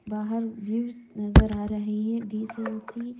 बाहर व्यूज़ नजर आ रहे हैं डिसेंट सी --